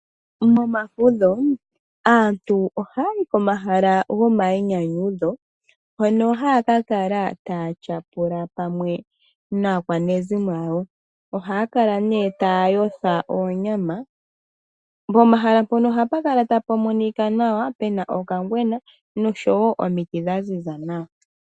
Momafudho aantu ohaya yi pomahala gomayinyanyudho, mpono haya ka kala taya tyapula pamwe naakwanezimo yawo. Ohaya kala nee taya yotha oonyama. Pomahala mpono ohapu kala ta pu monika nawa pe na okangwena noshowo omiti dha ziza nawa.